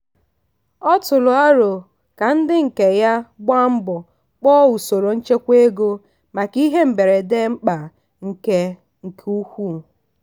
ọ tụrụ arọ ka ndị nke ya gbaa mbo kpọọ usoro nchekwa ego maka ihe mberede mkpa nke nke ukwuu.